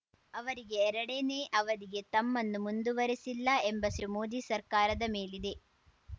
ಅವರಿಗೆ ಎರಡನೇ ಅವಧಿಗೆ ತಮ್ಮನ್ನು ಮುಂದುವರೆಸಿಲ್ಲ ಎಂಬ ಸಿಟ್ಟು ಮೋದಿ ಸರ್ಕಾರದ ಮೇಲಿದೆ